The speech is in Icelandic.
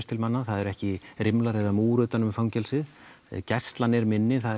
til manna það eru ekki rimlar eða múr utan um fangelsið gæslan er minni það